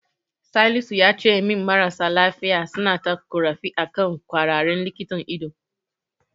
Salisu yace min marasa lafiya suna ta ƙorafi akan ƙwararren likitan ido.